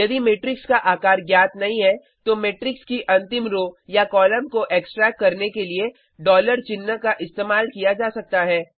यदि मेट्रिक्स का आकार ज्ञात नहीं है तो मेट्रिक्स की अंतिम रो या कॉलम को एक्सट्रैक्ट करने के लिए डॉलर चिन्ह का इस्तेमाल किया जा सकता है